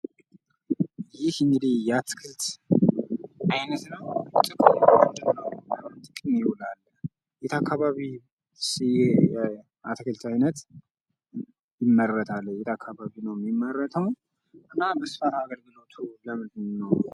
ይህ እንግዲህ የአትክልት አይነት ነው ጥቅሙ ምንድነው? ለምን ጥቅም ይውላል? የት አከባቢ ይህ የአትክልት አይነት ይመረታል የት አካባቢ ነው የሚመረተው እና በስፋት አገልግሎቱ ለምንድነው?